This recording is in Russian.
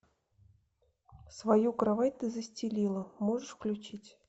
свою кровать ты застелила можешь включить